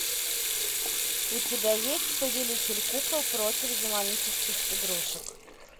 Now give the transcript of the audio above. у тебя есть повелитель кукол против демонических игрушек